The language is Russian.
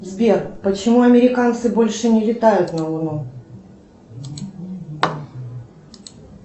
сбер почему американцы больше не летают на луну